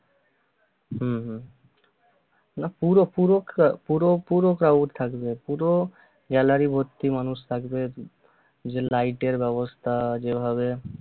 হম হম না পুরো পুরো ক্রা~ পুরো পুরো crowd থাকবে পুরো gallary ভর্তি মানুষ থাকবে ওইযে light এর ব্যবস্থা যেভাবে